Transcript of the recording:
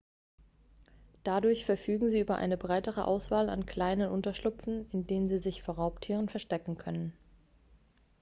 dadurch verfügen sie über eine breitere auswahl an kleinen unterschlüpfen in denen sie sich vor raubtieren verstecken können